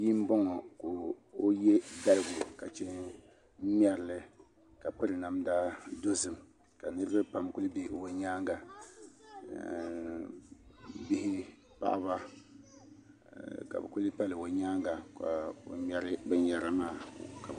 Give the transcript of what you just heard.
Bia n boŋo ka o yɛ daliga ka chɛ n ŋmɛrili ka piri namda dozim ka niraba pam ku bɛ o nyaanga bihi paɣaba ka bi kuli pali o nyaanga ka o ŋmɛri binyɛra maa